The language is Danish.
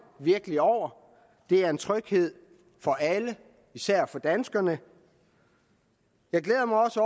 virkelig over det er en tryghed for alle især for danskerne jeg glæder mig også